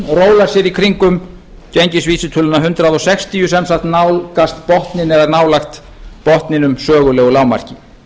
rólar sér í kringum gengisvísitöluna hundrað sextíu sem sagt nálgast botninn eða nálægt botninum sögulegu lágmarki